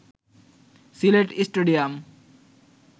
Sylhet stadium